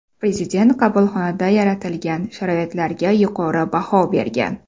Prezident qabulxonada yaratilgan sharoitlarga yuqori baho bergan.